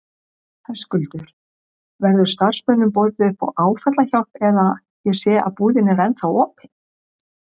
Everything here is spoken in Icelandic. Höskuldur: Verður starfsmönnum boðið upp á áfallahjálp eða, ég sé að búðin er ennþá opin?